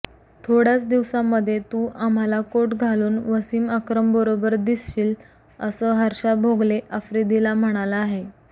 थोड्याच दिवसामध्ये तु आम्हाला कोट घालून वसिम अक्रमबरोबर दिसशील असं हर्षा भोगले आफ्रिदीला म्हणाला आहे